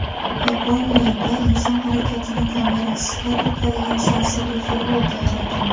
Yaponiyada inson harakatini kamerasiz qayd etadigan sensorli futbolka yaratildi.